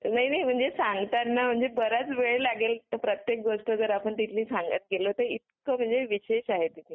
ही नाही म्हणजे सांगताना जरा बराच वेळ लागेल जर प्रत्येक गोष्ट तिथली सांगत गेलो तर इतका म्हणजे विशेष आहे तिथे.